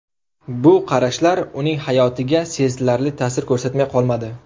Bu qarashlar uning hayotiga sezilarli ta’sir ko‘rsatmay qolmadi.